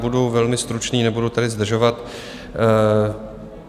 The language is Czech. Budu velmi stručný, nebudu tady zdržovat.